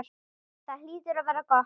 Það hlýtur að vera gott.